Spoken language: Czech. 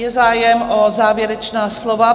Je zájem o závěrečná slova?